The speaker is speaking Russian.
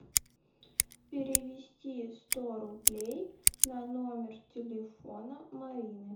перевести сто рублей на номер телефона марины